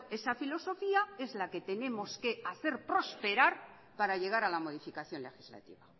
esa filosofía es la que tenemos que hacer prosperar para llegar a la modificación legislativa